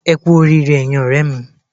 Ẹ kú oríire ẹyin ọ̀rẹ́ mi